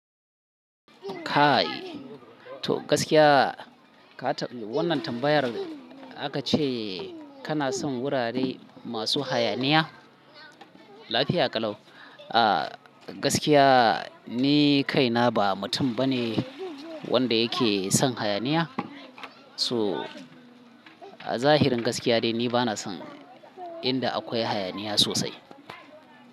Kai, to gaskiya ka ta-- wannan tambayar aka ce kana son wurare masu hayaniya? Lafiya ƙalau. Ah gaskiya ni kaina ba mutum bane wanda yake son hayaniya. So a zahirin gaskiya dai ni bana son inda akwai hayaniya sosai.